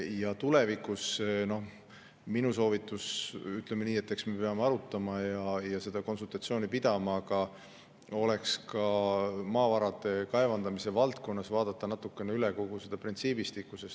Ja tulevikus on minu soovitus see – eks me peame arutama ja konsultatsioone pidama –, et maavarade kaevandamise valdkonnas tuleks vaadata üle kogu see printsiibistik.